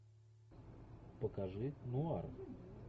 покажи нуар